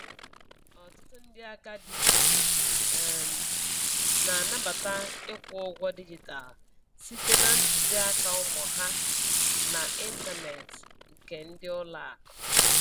Ọtụtụ ndị agadi um na-anabata ịkwụ ụgwọ dijitalụ site na ntuziaka ụmụ ha na intaneeti nke ndi ulo aku